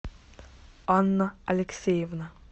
анна алексеевна